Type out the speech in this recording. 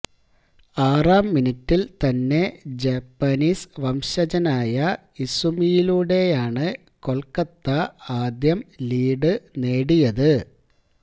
ആറാം മിനിറ്റില് തന്നെ ജാപ്പനീസ് വംശജനായ ഇസുമിയിലൂടെയാണ് കൊല്ക്കത്ത ആദ്യം ലീഡ് നേടിയത്